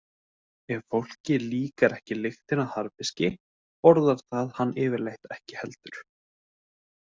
Ef fólki líkar ekki lyktin af harðfiski borðar það hann yfirleitt ekki heldur.